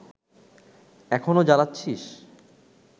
এখনো জ্বালাচ্ছিস